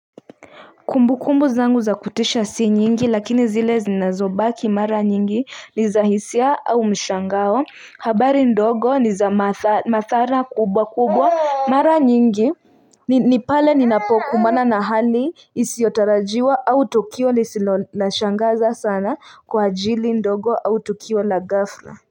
Kumbu kumbu zangu za kutisha si nyingi lakini zile zinazobaki mara nyingi ni za hisia au mshangao, habari ndogo ni za mathara kubwa kubwa mara nyingi ni pale ni napoku mana na hali isiotarajiwa au tokio lisilolashangaza sana kwa ajili ndogo au tukio la ghafla.